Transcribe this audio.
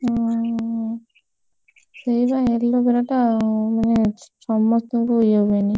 ହୁଁ ସେଇବା aloe vera ଟା ମାନେ ସମସ୍ତଙ୍କୁ ଇଏ ହୁଏନି।